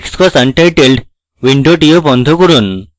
xcos untitled window বন্ধ করুন